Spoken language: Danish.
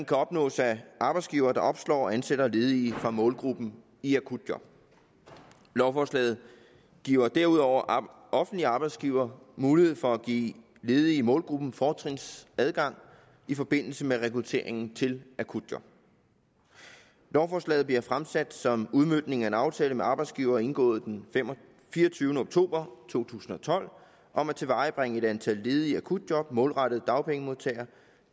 kan opnås af arbejdsgivere der opslår og ansætter ledige fra målgruppen i akutjob lovforslaget giver derudover offentlige arbejdsgivere mulighed for at give ledige i målgruppen fortrinsadgang i forbindelse med rekrutteringen til akutjob lovforslaget bliver fremsat som udmøntning af en aftale med arbejdsgiverne indgået den fireogtyvende oktober to tusind og tolv om at tilvejebringe et antal ledige akutjob målrettet dagpengemodtagere